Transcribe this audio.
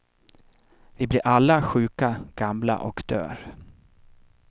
Vi blir alla sjuka, gamla och dör.